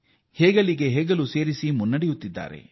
ಅವರು ಹೆಗಲಿಗೆ ಹೆಗಲು ಕೊಟ್ಟು ಮುನ್ನಡೆಯುತ್ತಿದ್ದಾರೆ